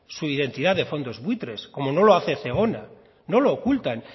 su identidad de fondos buitres como no lo hace zegona no lo ocultan